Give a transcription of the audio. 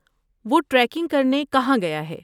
وہ ٹریکنگ کرنے کہاں گیا ہے؟